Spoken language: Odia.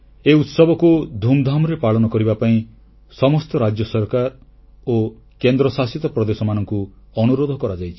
ଏହି ଉତ୍ସବକୁ ଧୁମଧାମରେ ପାଳନ କରିବା ପାଇଁ ସମସ୍ତ ରାଜ୍ୟ ସରକାର ଓ କେନ୍ଦ୍ରଶାସିତ ପ୍ରଦେଶମାନଙ୍କୁ ଅନୁରୋଧ କରାଯାଇଛି